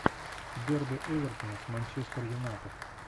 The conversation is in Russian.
дерби эвертона с манчестер юнайтед